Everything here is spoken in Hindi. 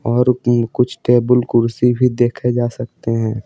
और ऊँ कुछ टेबल कुर्सी भी देखे जा सकते हैं।